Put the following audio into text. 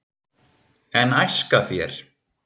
en æska þér